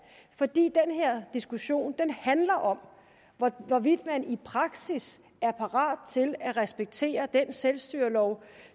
fordi den her diskussion handler om hvorvidt man i praksis er parat til at respektere den selvstyrelov